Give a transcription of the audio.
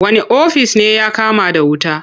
Wane ofis ne ya kama da wuta?